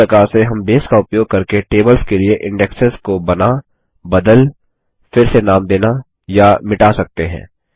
इस प्रकार से हम बेस का उपयोग करके टेबल्स के लिए इन्डेक्सेस को बना बदल फिर से नाम देना या मिटा सकते हैं